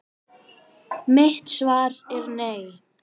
Mitt svar er nei!